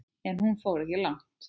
En hún fór ekki langt.